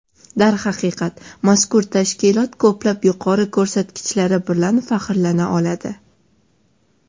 Darhaqiqat, mazkur tashkilot ko‘plab yuqori ko‘rsatkichlari bilan faxrlana oladi.